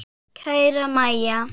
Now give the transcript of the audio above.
Kæra Mæja.